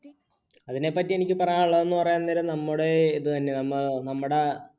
അതിനെപ്പറ്റി എനിക്ക് പറയാനുള്ളത് എന്ന് പറയാൻ നേരം നമ്മുടെ ഇത് തന്നെ നമ്മടെ